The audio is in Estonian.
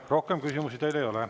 Rohkem küsimusi teile ei ole.